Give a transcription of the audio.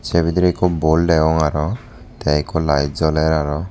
ei bidirey ikko bol degong aro tay ikko light joler aro.